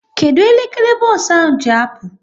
Kedụ elekere bos ahụ ji apụ?